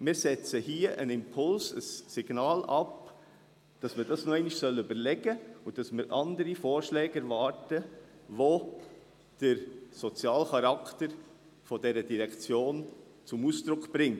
Wir setzen hier einen Impuls, ein Signal ab, dass man sich dies noch einmal überlegen soll und dass wir andere Vorschläge erwarten, die den sozialen Charakter dieser Direktion zum Ausdruck bringen.